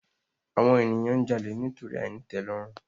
Àwon ènìyàn n jalè nítorí àìnítèlòrùn